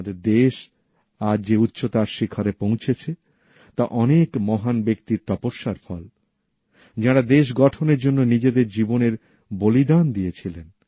আমাদের দেশ আজ যে উচ্চতার শিখরে পৌঁছেছে তা অনেক মহান ব্যক্তির তপস্যার ফল যাঁরা দেশ গঠনের জন্য নিজেদের জীবনের বলিদান দিয়েছিলেন